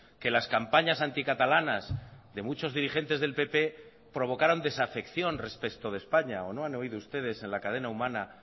que las campañas anticatalanas de muchos dirigentes del pp provocaron desafección respecto de españa o no han oído ustedes en la cadena humana